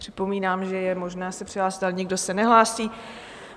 Připomínám, že je možné se přihlásit, ale nikdo se nehlásí.